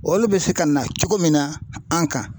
Olu bɛ se ka na cogo min na an kan.